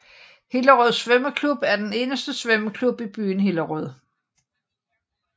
Hillerød Svømmeklub er den eneste svømmeklub i byen Hillerød